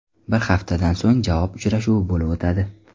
Bir haftadan so‘ng javob uchrashuvi bo‘lib o‘tadi.